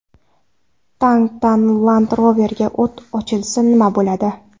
Tankdan Land Rover’ga o‘t ochilsa nima bo‘ladi?.